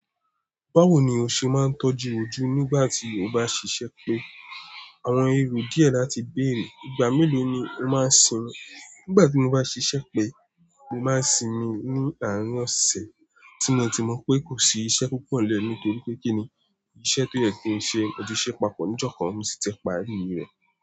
Báwo ni o ṣe máa ń tọ́jú ojú nígbà tí o bá ṣiṣẹ́ pẹ́? Àwọn èrò díẹ̀ láti bèrè, ìgbà mélòó ni o máa ń sin òun? Nígbà tí mo bá ṣiṣẹ́ pẹ́, mo máa ń sinmi ní àárín ọ̀sẹ̀, tí mo ti mọ̀ pé kò sí iṣẹ́ púpọ̀ nlẹ́ nítorí pé kíni iṣẹ́ tó yẹ kin ṣe mò tí ṣẹ́ papọ̀ ní ìjọ kan, mo sì ti parí rẹ̀.